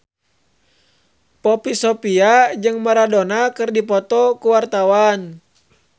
Poppy Sovia jeung Maradona keur dipoto ku wartawan